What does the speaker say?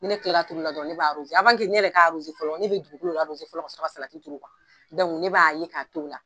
Ni ne tilara turuli la dɔrɔnw, ne b'a , ne yɛrɛ k'a fɔlɔ ne bɛ dugukolo fɔlɔ, ka sɔrɔ ka salati turu, dɔnku ne b'a ɲɛ k'a to la.